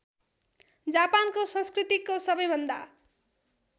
जापानको संस्कृतिको सबैभन्दा